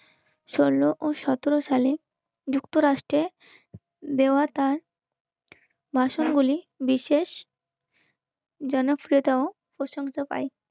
ষোলো ও সতেরো সালে যুক্তরাষ্ট্রে তার বাসনগুলি বিশেষ জনপ্রিয়তাও প্রশংসা পাই.